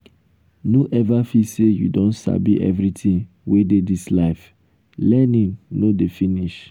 um no ever feel say you don sabi um everything wey dey dis life learning no dey um finish.